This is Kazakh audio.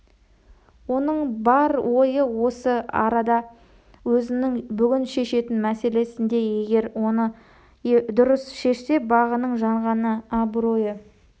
оның бар ойы осы арада өзінің бүгін шешетін мәселесінде егер оны дұрыс шешсе бағының жанғаны абыройы